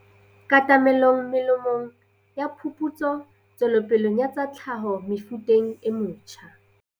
Katamelo melemong ya phuputso tswelopeleng ya tsa tlhaho mefuteng e metjha.